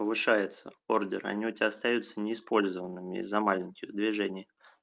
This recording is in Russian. повышается ордер они у тебя остаются неиспользованными из-за маленьких движение